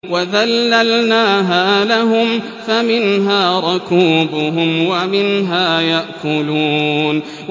وَذَلَّلْنَاهَا لَهُمْ فَمِنْهَا رَكُوبُهُمْ وَمِنْهَا يَأْكُلُونَ